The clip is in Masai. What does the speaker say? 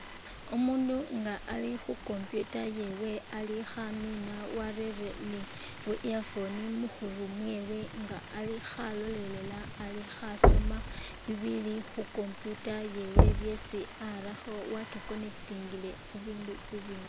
Umundu nga ali khu computer yewe ali khamina warere ni bu earphone mu khuru mwewe nga ali khalolelela ali khasoma bibili khu computer yewe byesi arakho wa kikonekitingile khu hindu bibindi.